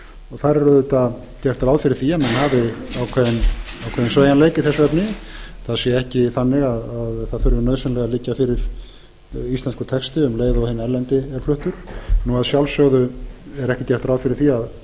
þar er auðvitað gert ráð fyrir því að menn hafi ákveðinn sveigjanleik í þessu efni það sé ekki þannig að það þurfi nauðsynlega að liggja fyrir íslenskur texti um leið og hinn erlendi er fluttur að sjálfsögðu er ekki gert ráð fyrir því